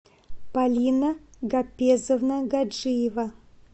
полина гапесовна гаджиева